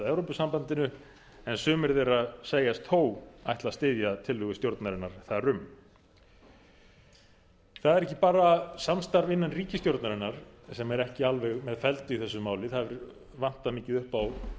evrópusambandinu en sumir þeirra segjast þó ætla að styðja tillögu stjórnarinnar þar um það er ekki bara samstarf innan ríkisstjórnarinnar sem er ekki alveg með felldu í þessu máli það vantar mikið upp